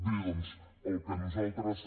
bé doncs el que nosaltres